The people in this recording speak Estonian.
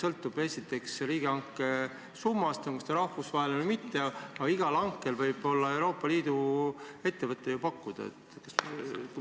Kõik sõltub ju esiteks riigihanke summast, on see siis rahvusvaheline või mitte, aga igal hankel võib Euroopa Liidu ettevõte osaleda ja pakkuda.